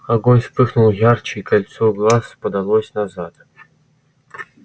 огонь вспыхнул ярче и кольцо глаз подалось назад